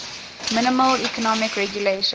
minimal economic regulations